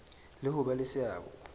le ho ba le seabo